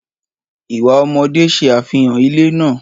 Ìwà ọmọdé ṣe àfihàn ilé náà.